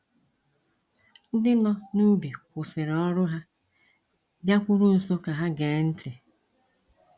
Ndị nọ n’ubi kwụsịrị ọrụ ha, bịakwuru nso ka ha gee ntị.